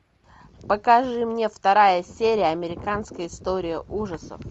покажи мне вторая серия американская история ужасов